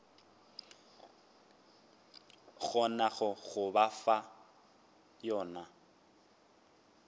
kgonago go ba fa yona